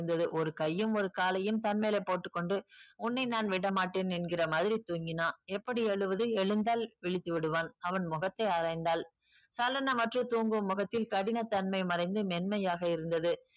~ந்தது ஒரு கையும் ஒரு காலயும் தன்மேலே போட்டுக் கொண்டு உன்னை நான் விட மாட்டேன் என்கிற மாதிரி தூங்கினான் எப்படி எழுவது எழுந்தால் விழித்து விடுவான் அவன் முகத்தை ஆராய்ந்தால் சலனமற்று தூங்கும் முகத்தில் கடினத்தன்மை மறைந்து மென்மையாக இருந்தது